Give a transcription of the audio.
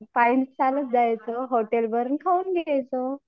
कायम चालत जायचं हॉटेल वरून खाऊन यायचं.